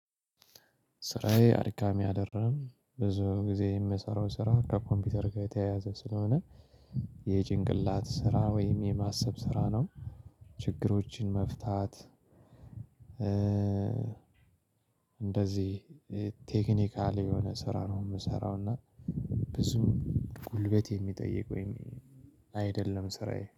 ስራዬ አድካሚ አደለም ብዙ ጊዜ የምሰራው ስራ ከኮምፒውተር ጋር የተያያዘ ስለሆነ የጭንቅላት ስራ ወይም የማሰብ ስራ ነው። ችግሮችን መፍታት። እንደዚህ ቴክኒካል የሆነ ስራ ነው የምሰራው እና። ብዙ ጉልበት የሚጠይቅ ወይም አይደለም ስራዬ